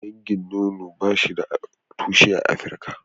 Dangin nono ba shi da tushe a Afrika.